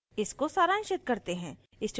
इसको सारांशित करते हैं